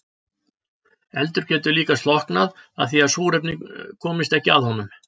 Eldur getur líka slokknað af því að súrefni komist ekki að honum.